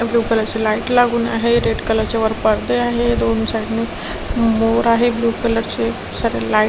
blue colour ची light लागून आहे रेड कलर चे वर पडदे आहे दोन साईड ने मोर आहे ब्ल्यू कलर चे सारे लाईट --